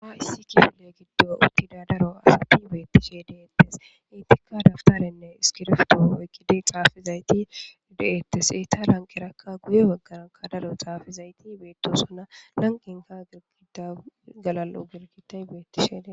ha issi kiyole giddo uttida daro asapi beettishe deettes intika daftarenne iskirfto oykkidi xaafizayti de7ettes eyta lanqerakka guye baggaranka dalo xaafizayti beetosona nanqinka gigida galal7o girgitan beettishede